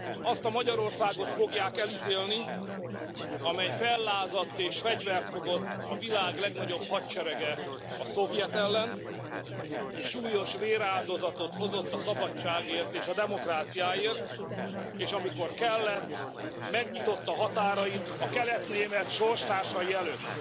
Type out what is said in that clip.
Azt a Magyarországot fogják elítélni, amely fellázadt, és fegyvert fogott a világ legnagyobb hadserege, a szovjet ellen, és súlyos véráldozatot hozott a szabadságért és a demokráciáért, és amikor kellett, megnyitotta határait a kelet német sorstársai előtt.